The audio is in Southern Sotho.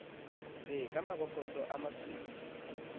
be ka mabokose a masweu